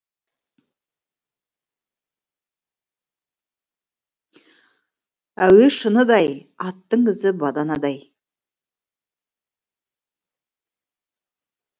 әуе шыныдай аттың ізі баданадай